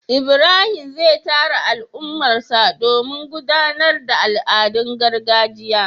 ibrahim zai tara al'ummarsa domin gudanar da al'adun gargajiya